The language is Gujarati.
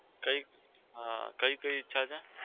કઈ? હા કઈ કઈ છે?